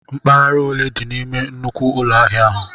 Mpaghara ole di n'ime nnukwu ụlọ ahịa ahụ?